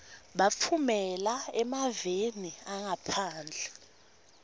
batfumela emaveni angaphandle